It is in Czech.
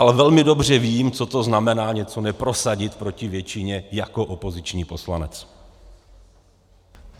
Ale velmi dobře vím, co to znamená něco neprosadit proti většině jako opoziční poslanec.